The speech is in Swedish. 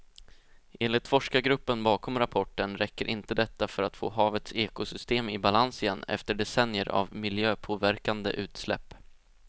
Enligt forskargruppen bakom rapporten räcker inte detta för att få havets ekosystem i balans igen efter decennier av miljöpåverkande utsläpp.